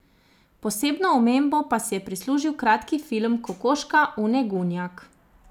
Posebno omembo pa si je prislužil kratki film Kokoška Une Gunjak.